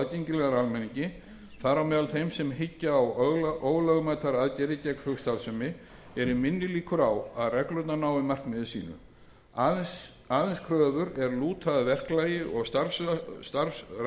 aðgengilegar almenningi þar á meðal þeim sem hyggja á ólögmætar aðgerðir gegn flugstarfsemi eru minni líkur á að reglurnar nái markmiði sínu aðeins kröfur er lúta að verklagi og starfrækslu